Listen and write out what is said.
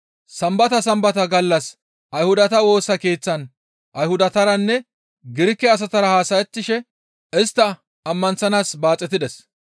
Sambata Sambata gallas Ayhudata Woosa Keeththan Ayhudataranne Girike asatara haasayettishe istta ammanththanaas baaxetides.